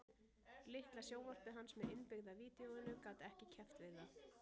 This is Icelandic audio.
Litla sjónvarpið hans með innbyggða vídeóinu gat ekki keppt við það